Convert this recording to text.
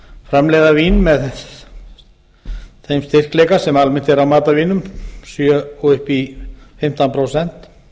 framleiða vín með þeim styrkleika sem almennt er á matarvínum sjö prósent og upp í fimmtán prósent